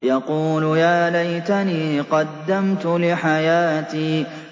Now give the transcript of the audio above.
يَقُولُ يَا لَيْتَنِي قَدَّمْتُ لِحَيَاتِي